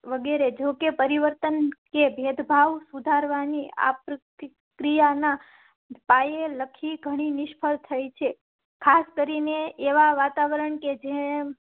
વગેરે. જોકે પરિવર્તન કે ભેદભાવ સુધારવા ની આપ્રક્રિયા નાના પાયે લખી ઘણી નિષ્ફળ થાય છે. ખાસ કરી ને એવાં વાતાવરણ કે જેમ